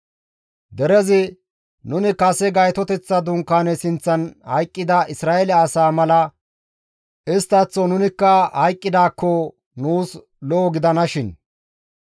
Derezi, «Nuni kase Gaytoteththa Dunkaane sinththan hayqqida Isra7eele asaa mala isttaththo nunikka hayqqidaakko nuus lo7o gidanashin;